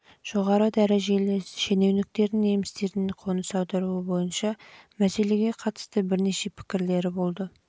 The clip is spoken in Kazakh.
жоғары дәрежелі шенеуіктердің немістердің қоныс аударуы бойынша мәселеге қатысты бірнеше пікірлері болды